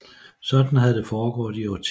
Sådan havde det foregået i årtier